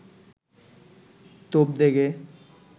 তোপ দেগে